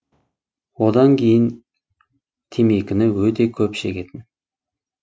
одан кейін темекіні өте көп шегетін